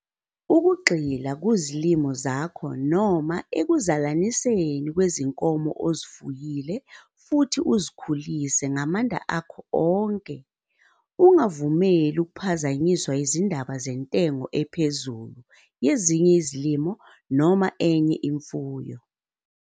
Ukugxila kuzilimo zakho noma ekuzalaniseni kwezinkomo ozifuyile futhi uzikhulise ngamanda akho onke. Ungavumeli ukuphazamiswa yizindaba zentengo ephezulu yezinye izilimo noma enye imfuyo.